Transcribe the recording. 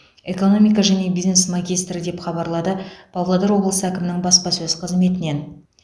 экономика және бизнес магистрі деп хабарлады павлодар облысы әкімінің баспасөз қызметінен